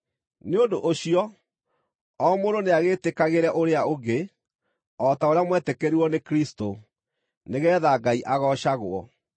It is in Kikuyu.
Nĩ ũndũ ũcio, o mũndũ nĩagĩĩtĩkagĩre ũrĩa ũngĩ, o ta ũrĩa mwetĩkĩrirwo nĩ Kristũ, nĩgeetha Ngai agoocagwo.